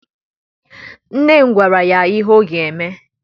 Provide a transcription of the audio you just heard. Nne m gwara ya ihe ọ ga-eme.